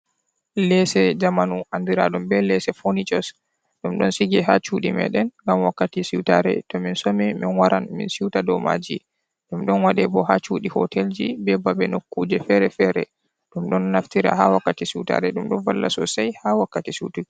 Leese jamanu andiraɗum be leese fonicos. Ɗum ɗon sige ha cuɗi meɗen ngam wakkati siutare to min somi min waran min siuta dou maaji. Ɗum ɗon waɗe bo ha cudi hotelji, be babe nokkuuje fere-fere. Ɗum ɗon naftira ha wakkati siutare, ɗum ɗon valla sosai ha wakkati sutuki.